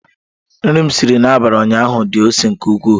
Nri m siri n'abalị ụnyaahụ di ose nke ukwuu.